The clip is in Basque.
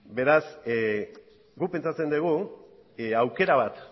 beraz guk pentsatzen dugu aukera bat